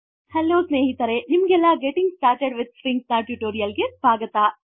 hello ಸ್ನೇಹಿತರೆ ನಿಮಗೆಲ್ಲ getting started with stringsನ ಟುಟೋರೀಯಲ್ ಗೆ ಸ್ವಾಗತ